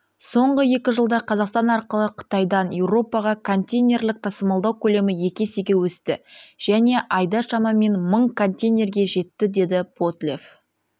соңғы екі жылда қазақстан арқылы қытайдан еуропаға контейнерлік тасымалдау көлемі екі есеге өсті және айда шамамен мың контейнерге жетті деді потлев